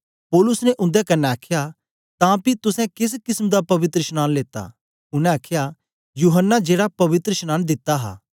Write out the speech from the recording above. पौलुस ने उन्दे कन्ने आखया तां पी तुसें केस किसम दा पवित्रशनांन लेता उनै आखया यूहन्ना जेड़ा पवित्रशनांन दित्ता हा